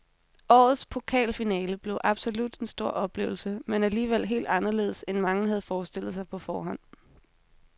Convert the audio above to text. Årets pokalfinale blev absolut en stor oplevelse, men alligevel helt anderledes end mange havde forestillet sig på forhånd.